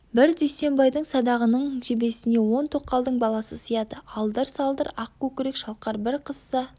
бір дүйсенбайдың садағының жебесіне он тоқалдың баласы сияды алдыр-салдыр ақ көкірек шалқар бір қызса